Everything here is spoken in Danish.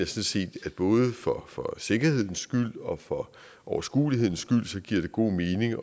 set at både for for sikkerhedens skyld og for overskuelighedens skyld giver det god mening